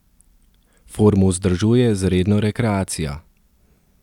Formo vzdržuje z redno rekreacijo.